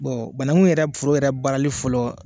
Bɔn banankun yɛrɛ foro yɛrɛ baarali fɔlɔ